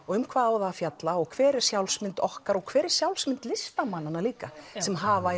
og um hvað á það að fjalla og hver er sjálfsmynd okkar og hver er sjálfsmynd listamannana líka sem hafa